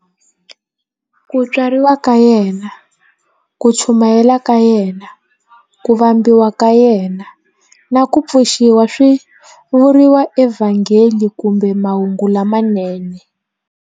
Ku tswariwa ka yena, ku chumayela ka yena, ku vambiwa ka yena, na ku pfuxiwa swi vuriwa eVhangeli kumbe"Mahungu lamanene".